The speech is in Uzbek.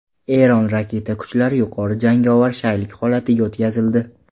Eron raketa kuchlari yuqori jangovar shaylik holatiga o‘tkazildi.